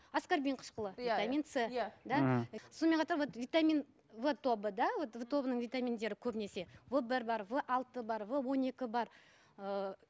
аскорбин қышқылы иә иә витамин с иә мхм сонымен қатар витамин в тобы да в тобының витаминдері көбінесе в бір бар в алты бар в он екі бар ыыы